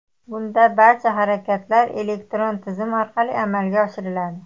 Bunda barcha harakatlar elektron tizim orqali amalga oshiriladi.